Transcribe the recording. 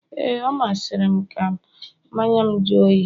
ee, ọ masịrị m ka mmanya'm jụọ oyi